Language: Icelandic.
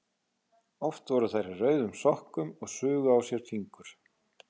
Oft voru þær í rauðum sokkum og sugu á sér fingur.